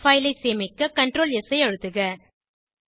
file ஐ சேமிக்க Ctrl S ஐ அழுத்துக